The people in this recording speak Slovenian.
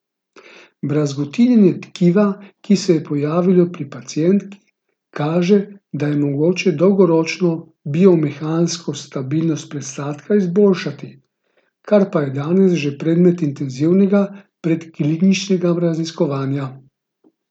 Brazgotinjenje tkiva, ki se je pojavilo pri pacientki, pa kaže, da je mogoče dolgoročno biomehansko stabilnost presadka izboljšati, kar pa je danes že predmet intenzivnega predkliničnega raziskovanja.